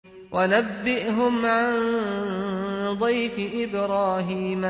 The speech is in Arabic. وَنَبِّئْهُمْ عَن ضَيْفِ إِبْرَاهِيمَ